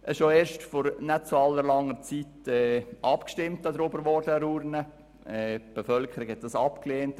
Vor sechs Jahren erst wurde an der Urne darüber abgestimmt und die Bevölkerung hat das abgelehnt.